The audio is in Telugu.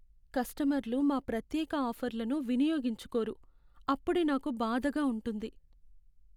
కస్టమర్లు మా ప్రత్యేక ఆఫర్లను వినియోగించుకోరు. అప్పుడే నాకు బాధగా ఉంటుంది.